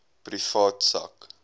privaat sak